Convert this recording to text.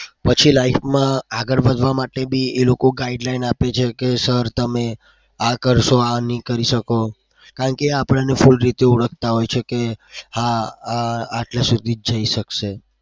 પછી life માં આગળ વધવા માટે બે એ લોકો guideline આપે છે કે sir તમે આ કરશો આ નહી કરી શકો. કારણ કે એ આપણને full રીતે ઓળખતા હોય છે કે હા આ આ આટલા સુધી જ જઈ શકશે.